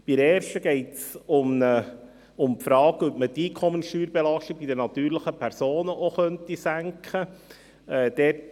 Bei der ersten Planungserklärung geht es um die Frage, ob man die Einkommenssteuerbelastung bei den natürlichen Personen auch senken könnte.